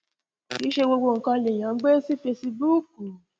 kì í ṣe gbogbo nǹkan lèèyàn ń gbé sí fesibúùkù